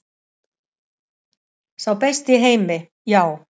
Sá besti í heimi, já.